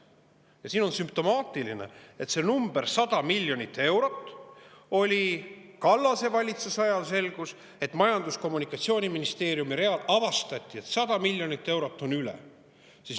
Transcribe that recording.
Ja siin on sümptomaatiline, et Kallase valitsuse ajal selgus, et avastati, et Majandus- ja Kommunikatsiooniministeeriumi real on 100 miljonit eurot üle.